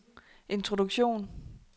introduktion